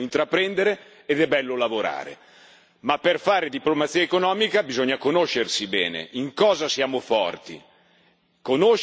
Ma per fare diplomazia economica bisogna conoscersi bene, sapere in cosa siamo forti, conoscersi e difendersi per proporsi.